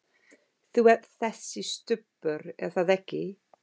Þú ert þessi Stubbur, er það ekki?